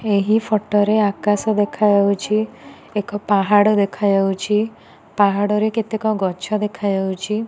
ଏହି ଫଟ ରେ ଆକାଶ ଦେଖାଯାଉଛି ଏକ ପାହାଡ଼ ଦେଖାଯାଉଚି ପାହାଡ଼ରେ କେତେକ ଗଛ ଦେଖାଯାଉଛି।